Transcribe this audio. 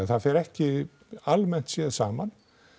það fer ekki almennt séð saman